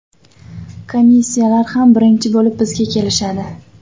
Komissiyalar ham birinchi bo‘lib bizga kelishadi.